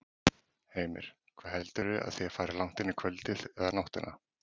Heimir: Hvað heldurðu að þið farið langt inn í kvöldið eða nóttina?